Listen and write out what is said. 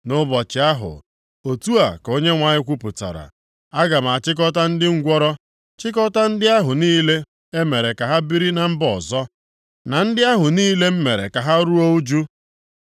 “Nʼụbọchị ahụ,” otu a ka Onyenwe anyị kwupụtara, “aga m achịkọta ndị ngwụrọ, chịkọtaa ndị ahụ niile e mere ka ha biri na mba ọzọ, na ndị ahụ niile m mere ka ha ruo ụjụ.